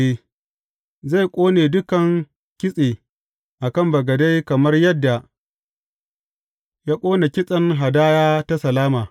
Zai ƙone dukan kitse a kan bagade kamar yadda ya ƙone kitsen hadaya ta salama.